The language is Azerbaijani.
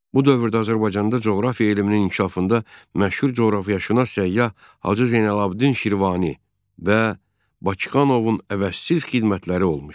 Bu dövrdə Azərbaycanda coğrafiya elminin inkişafında məşhur coğrafiyaşünas Səyyah Hacı Zeynalabdin Şirvani və Bakıxanovun əvəzsiz xidmətləri olmuşdu.